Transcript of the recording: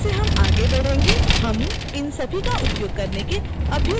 जैसेजैसे हम आगे बढ़ेंगे हम इन सभी का उपयोग करने के अभ्यसत होते जाएँगे